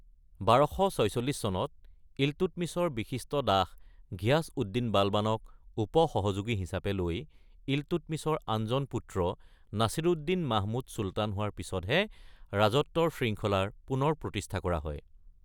১২৪৬ চনত ইলটুটমিছৰ বিশিষ্ট দাস ঘিয়াছ-উদ্দিন-বালবানক উপ-সহযোগী হিচাপে লৈ ইলটুটমিছৰ আনজন পুত্ৰ নাছিৰুদ্দিন-মাহমুদ চুলতান হোৱাৰ পিছতহে ৰাজত্বৰ শৃংখলাৰ পুনৰ প্ৰতিষ্ঠা কৰা হয়।